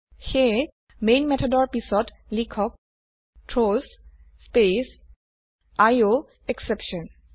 সেয়ে মেন মেথডৰ পিছত লিখক থ্ৰাউছ স্পেস আইঅএসচেপশ্যন